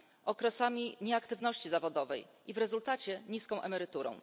okresami nieaktywności zawodowej i w rezultacie niską emeryturą.